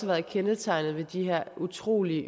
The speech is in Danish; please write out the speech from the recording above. været kendetegnende for de her utrolig